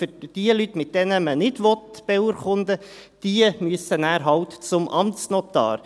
Und jene Leute, mit denen man nicht beurkunden möchte, müssen dann halt zum Amtsnotar.